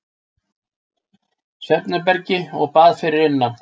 Svefnherbergi og bað fyrir innan.